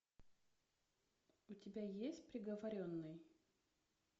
у тебя есть приговоренный